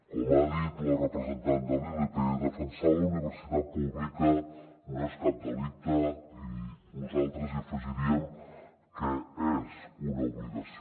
com ha dit la representant de la ilp defensar la universitat pública no és cap delicte i nosaltres hi afegiríem que és una obligació